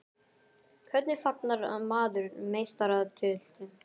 Hvernig fagnar maður meistaratitli?